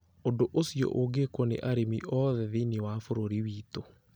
Ũndũ ũcio ũngĩkwo nĩ arĩmi othe thĩinĩ wa bũrũri witũ,